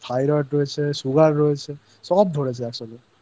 রয়েছে Thyroid রয়েছে Sugar রয়েছে সব ধরেছে একসাথেI